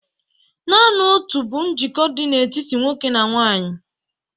Naanị otu bụ njikọ dị n'etiti nwoke na nwanyị